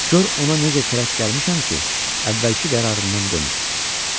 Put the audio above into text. Gör ona necə kərək gəlmişəm ki, əvvəlki qərarından dönüb.